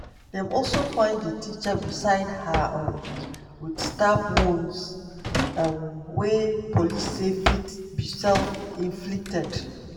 dem also find di teacher beside her um wit stab wounds um wey police say fit be self-inflicted.